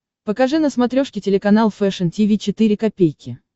покажи на смотрешке телеканал фэшн ти ви четыре ка